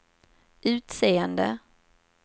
utseende